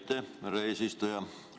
Aitäh, härra eesistuja!